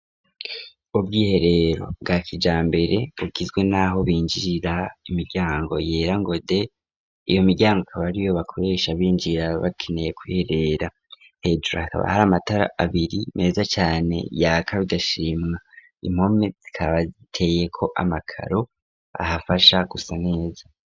Ubwiherero bwa kijambere bugizwe n'aho binjirira imiryango yera ngo de, iyo miryango kaba ariyo bakoresha binjira bakeneye kiherera. Hejuru hakaba hari amatara abiri meza cane yaka bigashimwa, impome zikaba ziteye ko amakaro ahafasha gusa neza.